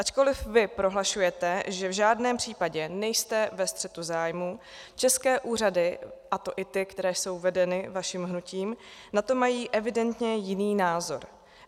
Ačkoliv vy prohlašujete, že v žádném případě nejste ve střetu zájmů, české úřady, a to i ty, které jsou vedeny vaším hnutím, na to mají evidentně jiný názor.